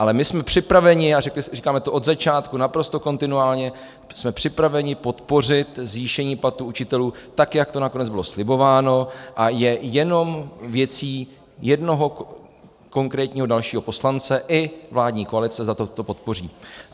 Ale my jsme připraveni, a říkáme to od začátku naprosto kontinuálně, jsme připraveni podpořit zvýšení platů učitelů tak, jak to nakonec bylo slibováno, a je jenom věcí jednoho konkrétního dalšího poslance i vládní koalice, zda toto podpoří.